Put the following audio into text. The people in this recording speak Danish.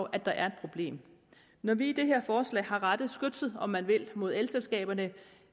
at der er et problem når vi i det her forslag har rettet skytset om man vil mod elselskaberne